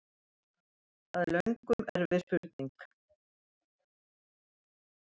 Það er löngum erfið spurning!